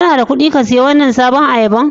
Kana da kuɗi ka siya wannan sabobin ayaba?